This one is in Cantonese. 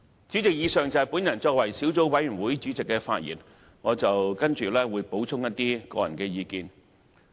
主席，以上是我作為小組委員會主席的發言，接下來我會補充一些個人意見。